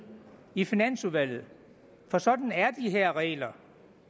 i finansudvalget for sådan er de her regler